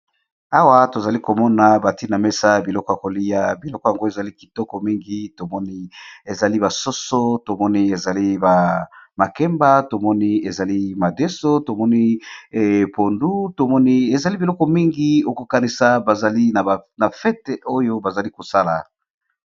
Awa tozali komona bantina mesa ya biloko ya kolia biloko yango ezali kitoko mingi tomoni ezali basoso tomoni ezali ba makemba tomoni ezali madeso tomoni epondu tomoni ezali biloko mingi okokanisa bazali na fete oyo bazali kosala.